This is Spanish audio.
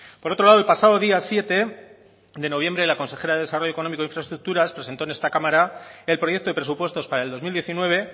por otro lado el pasado día siete de noviembre la consejera de desarrollo económico e infraestructuras presentó en esta cámara el proyecto de presupuestos para el dos mil diecinueve